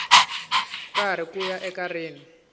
karhi ku ya eka rin